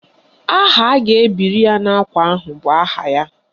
Aha a ga-ebiri ya n'ákwà ahụ bụ aha ya